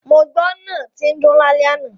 Mo gbọ́ náà tín dún lálẹ́ àná.